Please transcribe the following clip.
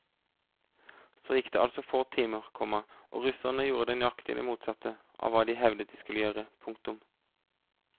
Så gikk det altså få timer, komma og russerne gjorde nøyaktig det motsatte av hva de hevdet de skulle gjøre. punktum